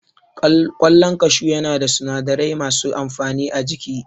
Ƙwallon kashu ya na da sinadarai masu amfani a jiki